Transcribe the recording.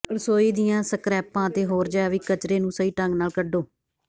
ਰਸੋਈ ਦੀਆਂ ਸਕ੍ਰੈਪਾਂ ਅਤੇ ਹੋਰ ਜੈਵਿਕ ਕਚਰੇ ਨੂੰ ਸਹੀ ਢੰਗ ਨਾਲ ਕੱਢੋ